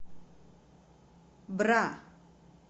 бра